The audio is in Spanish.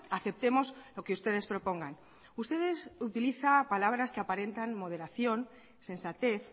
aceptemos lo que ustedes propongan ustedes utilizan palabras que aparentan moderación sensatez